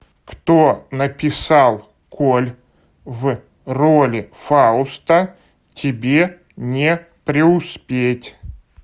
кто написал коль в роли фауста тебе не преуспеть